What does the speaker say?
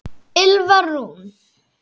Ylfa Rún.